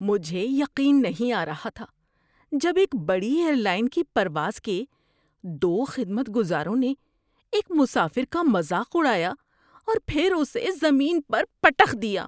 مجھے یقین نہیں آ رہا تھا جب ایک بڑی ایئر لائن کی پرواز کے دو خدمت گزاروں نے ایک مسافر کا مذاق اڑایا اور پھر اسے زمین پر پٹخ دیا۔